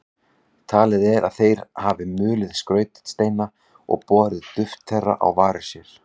Talið er að þeir hafi mulið skrautsteina og borið duft þeirra á varir sér.